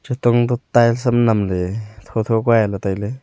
tungdup tiles sam namley tho tho kua aley tailay.